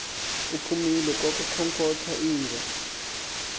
uphumile kwakukhonkotha inja